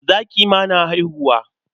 Zaki ma na haihuwa.